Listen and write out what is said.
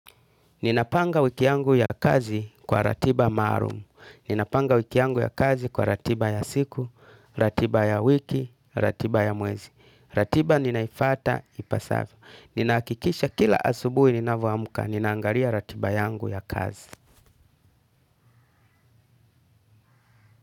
Ninapanga wiki yangu ya kazi kwa ratiba maalum. Ninapanga wiki yangu ya kazi kwa ratiba ya siku, ratiba ya wiki, ratiba ya mwezi. Ratiba ninaifata, ipasavyo. Nina hakikisha kila asubuhi ninavyo amka, ninaangalia ratiba yangu ya kazi.